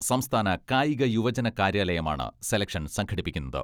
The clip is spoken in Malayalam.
സംസ്ഥാന കായിക യുവജന കാര്യാലയമാണ് സെലക്ഷൻ സംഘടിപ്പിക്കുന്നത്.